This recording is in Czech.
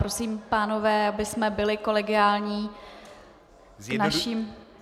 Prosím, pánové, abychom byli kolegiální k našim kolegům.